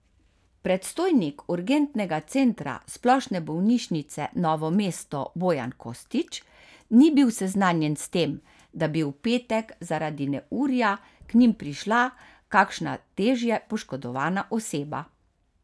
Predstojnik urgentnega centra Splošne bolnišnice Novo mesto Bojan Kostić ni bil seznanjen s tem, da bi v petek zaradi neurja k njim prišla kakšna težje poškodovana oseba.